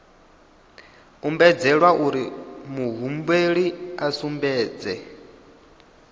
ombedzelwa uri muhumbeli a sumbedze